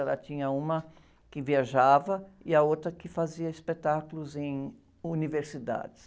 Ela tinha uma que viajava e a outra que fazia espetáculos em universidades.